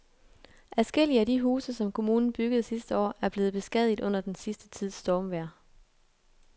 Adskillige af de huse, som kommunen byggede sidste år, er blevet beskadiget under den sidste tids stormvejr.